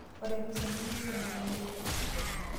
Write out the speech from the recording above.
Ore emisa nemewueji nairurake .